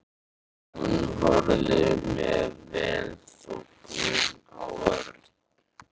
Hún horfði með velþóknun á Örn.